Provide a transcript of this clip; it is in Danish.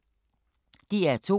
DR2